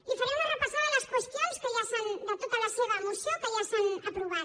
li faré una repassada de les qüestions de tota la seva moció que ja s’han aprovat